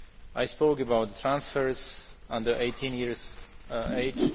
now. I spoke about transfers under 18 years